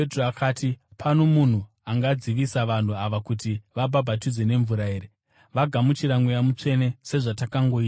“Pano munhu angadzivisa vanhu ava kuti vabhabhatidzwe nemvura here? Vagamuchira Mweya Mutsvene sezvatakangoitawo isu.”